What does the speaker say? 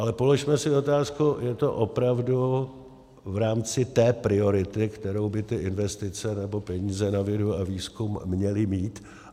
Ale položme si otázku: Je to opravdu v rámci té priority, kterou by ty investice nebo peníze na vědu a výzkum měly mít?